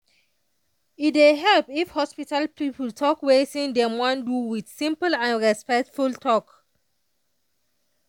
e dey help if hospital people talk wetin dem wan do with with simple and respectful talk.